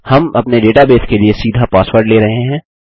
हम अपने डेटाबेस के लिए सीधा पासवर्ड ले रहे हैं